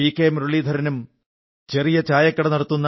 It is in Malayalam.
മുരളീധരനും ചെറിയ ചായക്കട നടത്തുന്ന പി